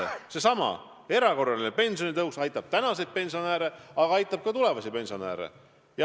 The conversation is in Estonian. Ent seesama erakorraline pensionitõus aitab nii praegusi kui ka tulevasi pensionäre.